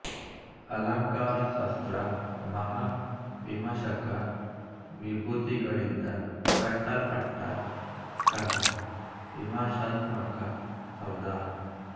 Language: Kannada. ಅಲಂಕಾರಶಾಸ್ತ್ರ ಮಹಾ ವಿಮರ್ಶಕ ವಿಭೂತಿಗಳಿಂದ ಕಟ್ಟಲ್ಪಟ್ಟ ಕಲಾ ವಿಮಾರ್ಶಾತ್ಮಕ ಸೌಧ